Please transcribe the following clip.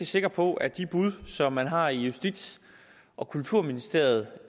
sikre på at de bud som man har i justits og kulturministeriet